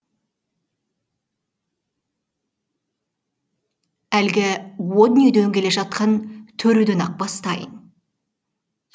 әлгі о дүниеден келе жатқан төреден ақ бастайын